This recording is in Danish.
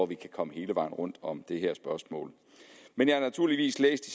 vi kan komme hele vejen rundt om det her spørgsmål men jeg har naturligvis læst